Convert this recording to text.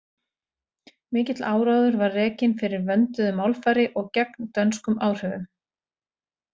Mikill áróður var rekinn fyrir vönduðu málfari og gegn dönskum áhrifum.